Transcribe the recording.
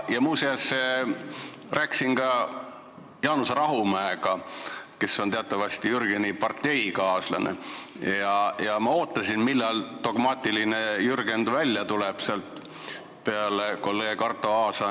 Ja muuseas, ma rääkisin ka Jaanus Rahumäega, kes on teatavasti Jürgeni parteikaaslane, ja ma juba ootasin, millal dogmaatiline Jürgen välja tuleb Arto Aasale lisaks.